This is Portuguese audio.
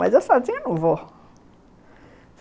Mas eu sozinha, não vou.